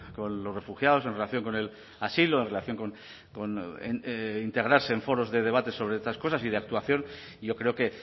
relación con los refugiados en relación con el asilo en relación con integrarse en foros de debate sobre estas cosas y de y yo creo que